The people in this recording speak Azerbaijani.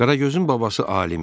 Qaragözün babası alim idi.